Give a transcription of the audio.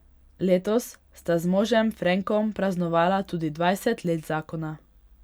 Letos sta z možem Frenkom praznovala tudi dvajset let zakona.